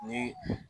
Ni